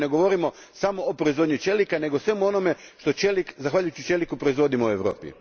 Dakle, ne govorimo samo o proizvodnji čelika, nego o svemu onome što zahvaljujući čeliku proizvodimo u Europi.